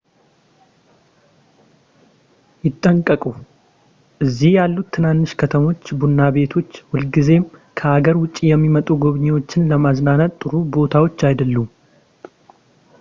ይጠንቀቁ እዚህ ያሉት ትናንሽ ከተሞች ቡና ቤቶች ሁልጊዜም ከሀገር ውጭ የሚመጡ ጎብኚዎች ለመዝናናት ጥሩ ቦታዎች አይደሉም